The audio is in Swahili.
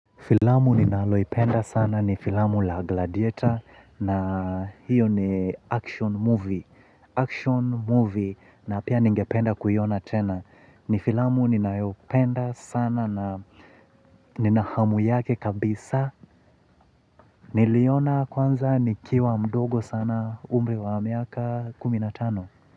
Filamu ninaloipenda sana ni filamu la gladiator na hiyo ni action movie. Action movie na pia ningependa kuiona tena. Ni filamu ninayopenda sana na nina hamu yake kabisa. Niliiona kwanza nikiwa mdogo sana umri wa miaka kuminatano.